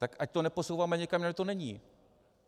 Tak ať to neposouváme někam, kde to není.